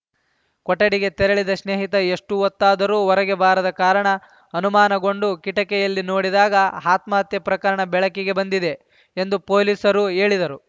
ಕೊಠಡಿಗೆ ತೆರಳಿದ ಸ್ನೇಹಿತ ಎಷ್ಟುಹೊತ್ತಾದರೂ ಹೊರಗೆ ಬಾರದ ಕಾರಣ ಅನುಮಾನಗೊಂಡು ಕಿಟಕಿಯಲ್ಲಿ ನೋಡಿದಾಗ ಆತ್ಮಹತ್ಯೆ ಪ್ರಕರಣ ಬೆಳಕಿಗೆ ಬಂದಿದೆ ಎಂದು ಪೊಲೀಸರು ಹೇಳಿದರು